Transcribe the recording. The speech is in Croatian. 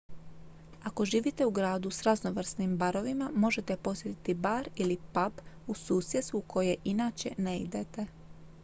ako živite u gradu s raznovrsnim barovima možete posjetiti bar ili pub u susjedstvu u koje inače ne idete